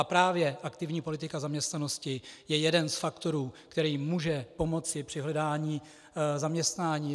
A právě aktivní politika zaměstnanosti je jeden z faktorů, který může pomoci při hledání zaměstnání.